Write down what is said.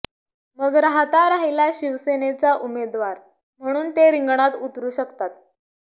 मग राहता राहिला शिवसेनचा उमेदवार म्हणून ते रिंगणात उतरु शकतात